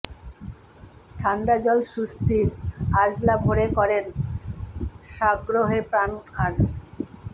ঠাণ্ডা জল সুস্থির আঁজলা ভরে করেন সাগ্রহে পান আর